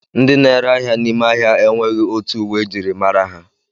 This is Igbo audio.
Ndị na-ere ahịa n'ime ahịa enweghị otu uwe ejiri mara ha